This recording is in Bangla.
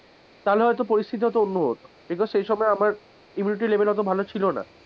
তাহলে হয়তো পরিস্থিতিটা হয়তো অন্য হতো because সেই সময় আমার immunity level অতো ভালো ছিল না,